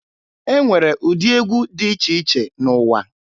E nwere ụdị egwu dị iche iche n'ụwa.